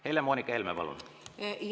Helle-Moonika Helme, palun!